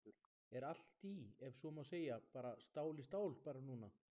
Höskuldur: Er allt í, ef svo má segja, bara stál í stál bara núna?